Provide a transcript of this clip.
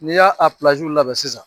N'i y'a labɛn sisan